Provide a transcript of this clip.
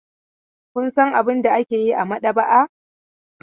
Kun san abin da ake yi a maɗaba'a?